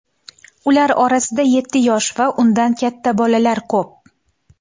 Ular orasida yetti yosh va undan katta bolalar ko‘p.